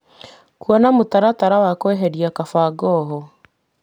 Kuona mũtaratara wa kweheria kabangoho.